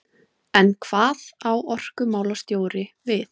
En hvað á orkumálastjóri við?